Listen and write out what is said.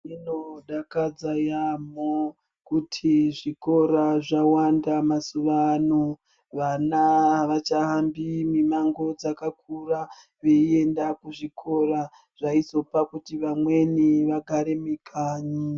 Zvinodakadza yambo kuti zvikora zvawanda mazuvaano vana avachahambi mimango dzakakura veiyenda kuzvikora zvaizopa kuti vamweni vagare mikanyi.